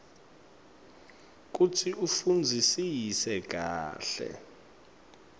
kutsi ufundzisise kahle